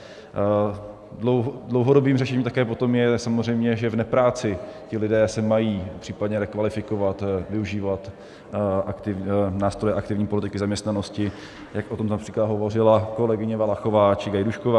Dlouhodobým řešením také potom je samozřejmě, že v nepráci se ti lidé mají případně rekvalifikovat, využívat nástroje aktivní politiky zaměstnanosti, jak o tom například hovořila kolegyně Valachová či Gajdůšková.